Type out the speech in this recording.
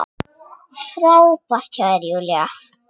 Frábært hjá þér, Júlía!